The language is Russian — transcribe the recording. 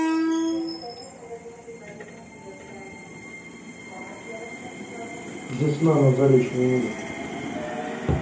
весна на заречной улице